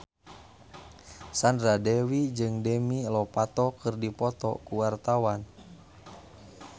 Sandra Dewi jeung Demi Lovato keur dipoto ku wartawan